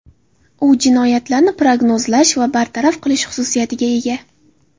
U jinoyatlarni prognozlash va bartaraf qilish xususiyatiga ega.